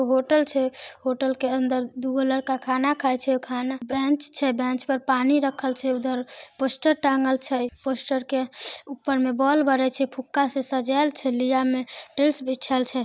Hotel छै hotel के अंदर दू लड़का खाना खाए छै खाना बेंच छै बेंच पर पानी रखल छै उधर पोस्टर टांगल छै पोस्टर के ऊपर में बोल बड़य छै फूक्का से सजाएल छै लिया में टाइल्स बिछएल छै।